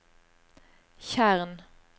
tjern